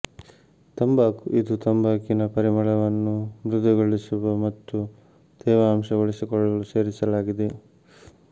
ತಂಬಾಕು ಇದು ತಂಬಾಕಿನ ಪರಿಮಳವನ್ನು ಮೃದುಗೊಳಿಸುವ ಮತ್ತು ತೇವಾಂಶ ಉಳಿಸಿಕೊಳ್ಳಲು ಸೇರಿಸಲಾಗಿದೆ